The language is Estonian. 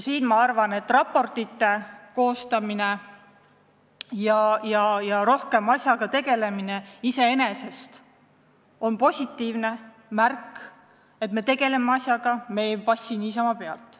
Minu arvates raportite koostamine ja asjaga rohkem tegelemine on iseenesest positiivne märk: me tegeleme asjaga, me ei passi niisama pealt.